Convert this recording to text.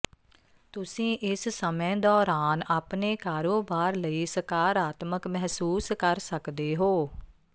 ਤੁਸੀਂ ਇਸ ਸਮੇਂ ਦੌਰਾਨ ਆਪਣੇ ਕਾਰੋਬਾਰ ਲਈ ਸਕਾਰਾਤਮਕ ਮਹਿਸੂਸ ਕਰ ਸਕਦੇ ਹੋ